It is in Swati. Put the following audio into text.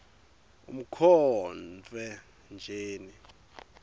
nkhotfwetjeni